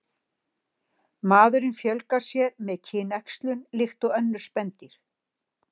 Maðurinn fjölgar sér með kynæxlun líkt og önnur spendýr.